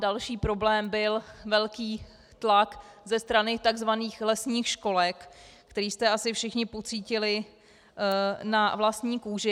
Další problém byl velký tlak ze strany tzv. lesních školek, který jste asi všichni pocítili na vlastní kůži.